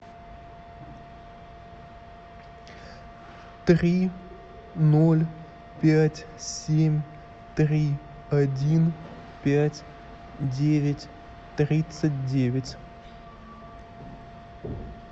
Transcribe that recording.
три ноль пять семь три один пять девять тридцать девять